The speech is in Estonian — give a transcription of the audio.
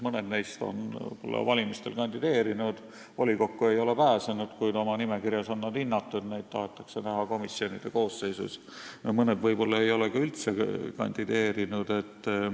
Mõned neist on võib-olla valimistel kandideerinud, volikokku ei ole pääsenud, kuid oma nimekirjas on nad hinnatud, neid tahetakse näha komisjonide koosseisus, ja mõned võib-olla ei ole ka üldse kandideerinud.